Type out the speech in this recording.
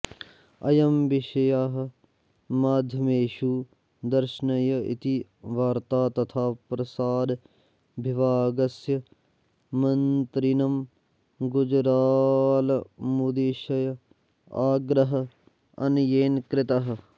अयं विषयः माध्यमेषु दर्शनीयः इति वार्ता तथा प्रसार विभागस्य मन्त्रिणं गुजरालमुद्दिश्य आग्रहः अन्येन कृतः